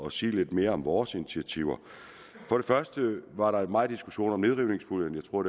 at sige lidt mere om vores initiativer for det første var der meget diskussion om nedrivningspuljen jeg tror